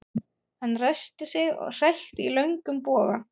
Hann ræskti sig og hrækti í löngum boga.